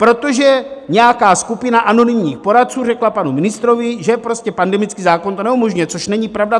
Protože nějaká skupina anonymních poradců řekla panu ministrovi, že prostě pandemický zákon to neumožňuje, což není pravda.